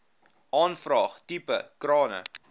aanvraag tipe krane